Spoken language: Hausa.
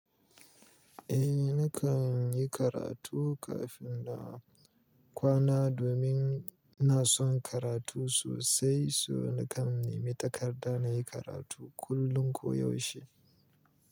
Eh nakan yi karatu kafin na kwana domin ina son karatu sosai, so nakan nimi takarda na yi karatu kullum koyaushe.